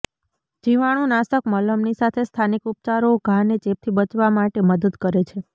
જીવાણુનાશક મલમની સાથે સ્થાનિક ઉપચારો ઘાને ચેપથી બચવા માટે મદદ કરે છે